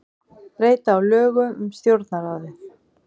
Breyta á lögum um Stjórnarráðið